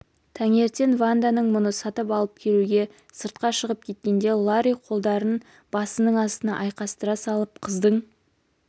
таңертең ванда ноы-мұны сатып алып келуге сыртқа шығып кеткенде ларри қолдарын басының астына айқастыра салып қыздың